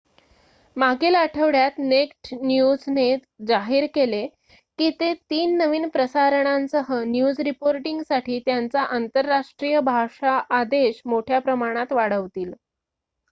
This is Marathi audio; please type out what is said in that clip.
मागील आठवड्यात नेक्ड न्यूजने जाहीर केले की ते 3 नवीन प्रसारणांसह न्यूज रिपोर्टिंगसाठी त्यांचा आंतरराष्ट्रीय भाषा आदेश मोठ्या प्रमाणात वाढवतील